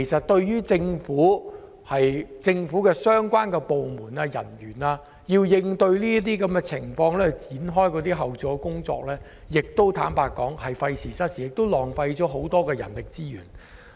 對於政府部門的人員而言，他們需要展開後續工作，同樣是費時失事，浪費很多人力資源。